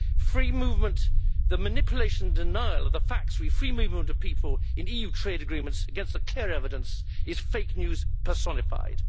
Free movement the manipulation and denial of the facts concerning free movement of people in EU trade agreements, against the clear evidence, is fake news personified.